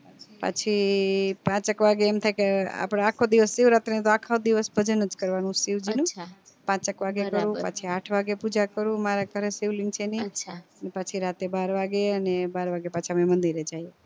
પાછી પાંચેક વાગે એમ થાય કે આપડે અખો દિવસ શિવજીનું ભજન કરવાનું પાંચેક વાગે કરું પાછી આઠ વાગે પણ પૂજા કું મારા ઘરે શિવલિંગ છે નયા એને પાછી રાતે બાર વાગે ને બાર વાગે પાછા મંદિર એ જઈએ